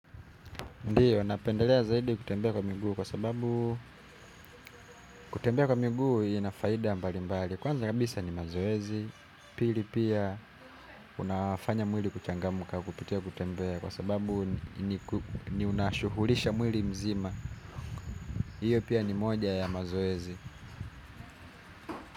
Ndiyo, napendelea zaidi kutembea kwa muguu kwa sababu kutembea kwa miguu ina faida mbali mbali. Kwanza kabisa ni mazoezi, pili pia unafanya mwili kuchangamka kupitia kutembea kwa sababu ni unashughulisha mwili mzima. Iyo pia ni moja ya mazoezi.